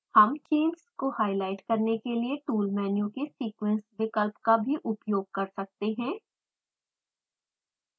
हम चेन्स को हाईलाइट करने के लिए टूल मेनू के sequence विकल्प का भी उपयोग कर सकते हैं